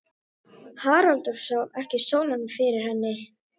Haraldur sá ekki sólina fyrir henni.